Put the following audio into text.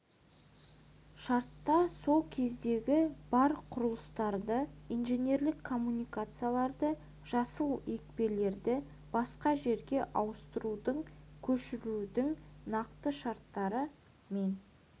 шартта сол кездегі бар құрылыстарды инженерлік коммуникацияларды жасыл екпелерді басқа жерге ауыстырудың көшірудің нақты шарттары мен